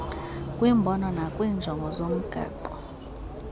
kwimbono nakwiinjongo zomgaqo